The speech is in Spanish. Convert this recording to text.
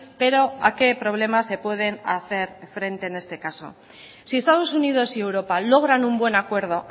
pero a qué problema se pueden hacer frente en este caso si estados unidos y europa logran un buen acuerdo